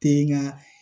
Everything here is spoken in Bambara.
Te nga